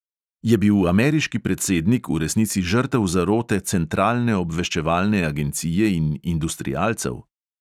Je bil ameriški predsednik v resnici žrtev zarote centralne obveščevalne agencije in industrialcev?